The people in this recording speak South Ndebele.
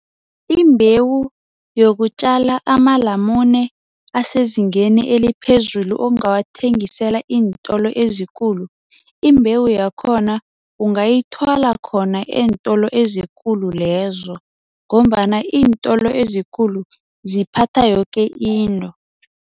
Imbewu yokutjala amalamune asezingeni eliphezulu ongawathengisela iintolo ezikulu, imbewu yakhona ungayithola khona eentolo ezikulu lezo ngombana iintolo ezikulu ziphatha yoke into.